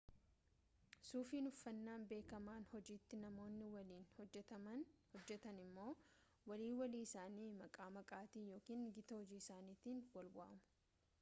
suufiin uffannaa beekamaa hojiiti namoonni waliin hojjetan immoo walii walii isaanii maqaa maatiitiin yookaan gita hojii isaaniitiin wal waamu